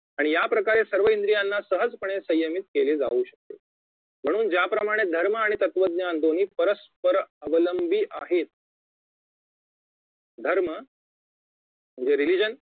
आणि याप्रकारे सर्व इंद्रियांना सहजपणे संयमित केले जाऊ शकते म्हणून ज्याप्रमाणे धर्म आणि तत्वज्ञान दोन्ही परस्पर अवलंबी आहेत धर्म म्हणजे religion